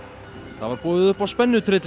það var boðið upp á